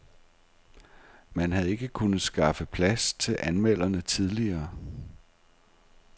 Man havde ikke kunnet skaffe plads til anmelderne tidligere.